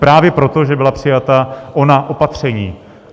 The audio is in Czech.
Právě proto, že byla přijata ona opatření.